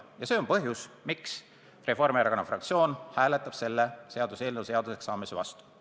Ja see on põhjus, miks Reformierakonna fraktsioon hääletab selle seaduseelnõu seaduseks saamise vastu.